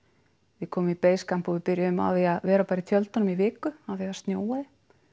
við komum í basecamp og byrjuðum á að vera bara í tjöldunum í viku af því það snjóaði